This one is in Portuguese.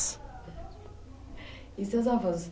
E seus avós,